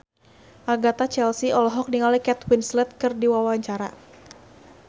Agatha Chelsea olohok ningali Kate Winslet keur diwawancara